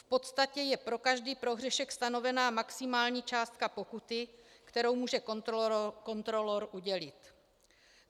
V podstatě je pro každý prohřešek stanovena maximální částka pokuty, kterou může kontrolor udělit.